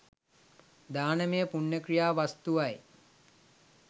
දානමය පුණ්‍ය ක්‍රියා වස්තුවයි.